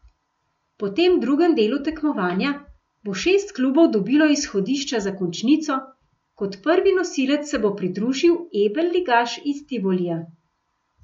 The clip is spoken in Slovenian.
Po tem drugem delu tekmovanja bo šest klubov dobilo izhodišča za končnico, kot prvi nosilec se bo pridružil Ebel ligaš iz Tivolija.